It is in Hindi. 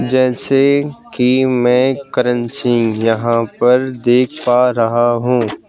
जैसे कि मैं करण सिंह यहां पर देख पा रहा हूं।